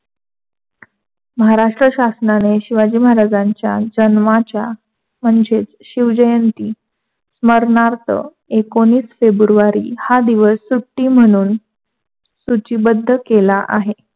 महाराष्ट्र शासनाने शिवाजी महाराजांच्या म्हणजे शिवजयन्ती मरणार्थ एकोनावीस फेब्रुवारी हा दिवस सुट्टी म्हणून सूचीबद्ध केला.